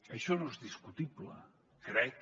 això no és discutible crec